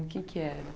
O que é que era?